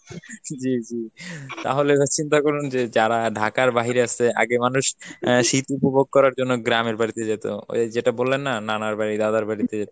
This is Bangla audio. জি জি, তাহলে এবার চিন্তা করুন যে যারা Dhaka র বাহিরে আছে আগে মানুষ আহ শীত উপভোগ করার জন্য গ্রামের বাড়িতে যেত ওই যেটা বললেন না নানাবাড়ি দাদারবাড়িতে,